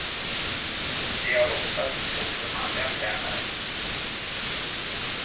De har oftast också manliga tränare.